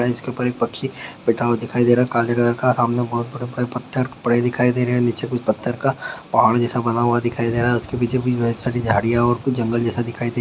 इसके ऊपर एक पक्षी बैठा हुआ दिखाई दे रहा है काले कलर का सामने बहुत बड़े पत्थर पड़े दिखाई दे रहे हैं नीचे कुछ पत्थर का पहाड़ जैसा बना हुआ दिखाई दे रहा है उसके पीछे भी बहुत सारी झाड़ियाँ और कुछ जंगल जैसा दिखाई दे--